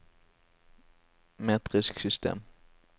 metrisk system